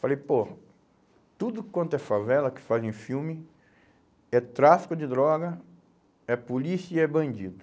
Falei, pô, tudo quanto é favela, que fazem filme, é tráfico de droga, é polícia e é bandido.